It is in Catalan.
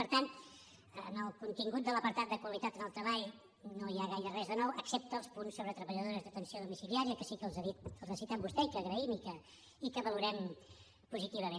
per tant en el contingut de l’apartat de qualitat en el treball no hi ha gaire res de nou excepte els punts sobre treballadores d’atenció domiciliària que sí que els ha dit els ha citat vostè i que agraïm i que valorem positivament